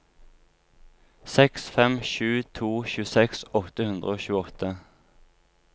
seks fem sju to tjueseks åtte hundre og tjueåtte